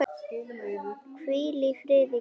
Hvíl í friði, kæra mamma.